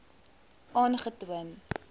aangetoon